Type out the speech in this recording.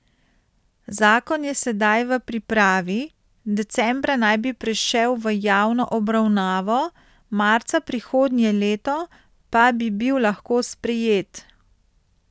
Zakon je sedaj v pripravi, decembra naj bi prišel v javno obravnavo, marca prihodnje leto pa bi bil lahko sprejet.